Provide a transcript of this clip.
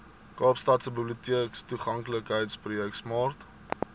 kaapstadse biblioteektoeganklikheidsprojek smart